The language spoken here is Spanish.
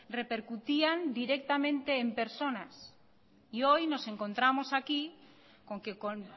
repercutían directamente en personas y hoy nos encontramos aquí con que con